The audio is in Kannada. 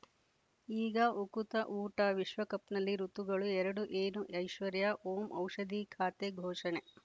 ಈಗ ಉಕುತ ಊಟ ವಿಶ್ವಕಪ್‌ನಲ್ಲಿ ಋತುಗಳು ಎರಡು ಏನು ಐಶ್ವರ್ಯಾ ಓಂ ಔಷಧಿ ಖಾತೆ ಘೋಷಣೆ